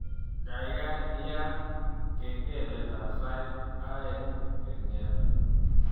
Gaigai yaat kengeletab sait aeng kengete